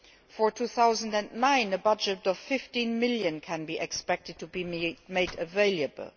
For 2009, a budget of EUR 15 million can be expected to be made available.